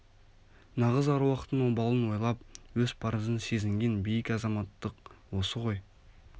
нағыз аруақтың обалын ойлап өз парызын сезінген биік азаматтық осы ғой